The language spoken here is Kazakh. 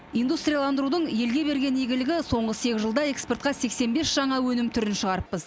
индустрилиандырудың елге берген игілігі соңғы сегіз жылда экспортқа сексен бес жаңа өнім түрін шығарыппыз